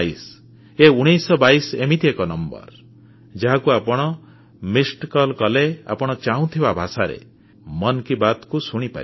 ଏ 1922 ଏମିତି ଏକ ନମ୍ବର ଯାହାକୁ ଆପଣ ମିସଡ୍ କଲ୍ କଲେ ଆପଣ ଚାହୁଁଥିବା ଭାଷାରେ ମନ୍ କି ବାତ୍କୁ ଶୁଣିପାରିବେ